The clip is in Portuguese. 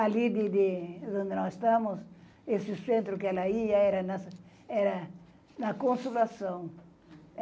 Ali de de onde nós estamos, esse centro que ela ia, era na, era na Consolação.